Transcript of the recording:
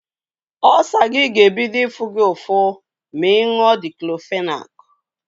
Ọlsa gi ga-ebido ifu gi ụfụ ma ịñyuo diktọfenak.